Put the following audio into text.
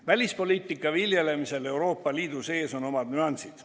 Välispoliitika viljelemisel Euroopa Liidu sees on omad nüansid.